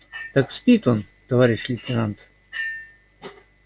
так спит он товарищ лейтенант